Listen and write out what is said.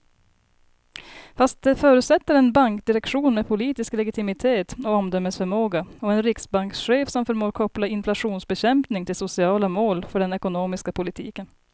Fast det förutsätter en bankdirektion med politisk legitimitet och omdömesförmåga och en riksbankschef som förmår koppla inflationsbekämpning till sociala mål för den ekonomiska politiken.